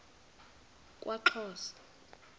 kwaxhosa